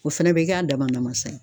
O fɛnɛ bɛ k'a dama namasa ye.